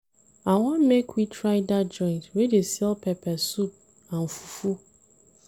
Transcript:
I wan make we try dat joint wey dey sell pepper soup and fufu.